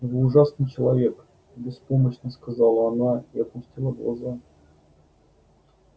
вы ужасный человек беспомощно сказала она и опустила глаза